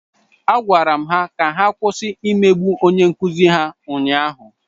Agwara m ha ka ha kwụsị imegbu onye nkụzi ha ụnyahụ.